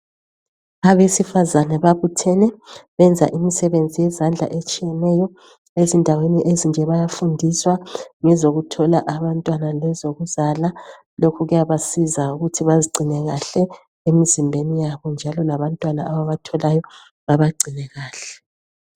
Abesifazana babuthene benza imisebenzi yezandla etshiyeneyo endaweni ezinje bayafundiswa ngezokuthola abantwana lezokuzala lokhu kuyabasiza ukuthi bazigcine kahle emzimbeni yabo njalo labantwana ababatholayo babagcine kahle.